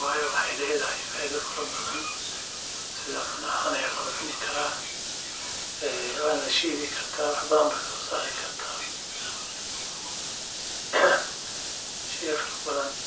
waayo waxeey ledahay faido fara badan waa la cuni karaa waana lashiidi karaa.